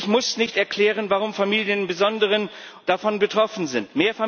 Ich muss nicht erklären, warum Familien im Besonderen davon betroffen sind.